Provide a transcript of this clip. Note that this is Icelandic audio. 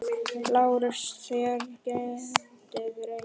LÁRUS: Þér getið reynt.